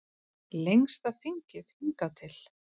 Lengsta þingið hingað til